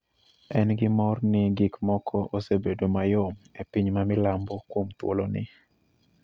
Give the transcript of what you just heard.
en gi mor ni gik moko osebedo mayom e piny ma milambo kuom thuoloni.